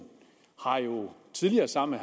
har jo tidligere sammen